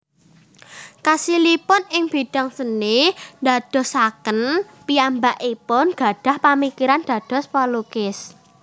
Kasilipun ing bidang seni ndadosaken piyambakipun gadhah pamikiran dados pelukis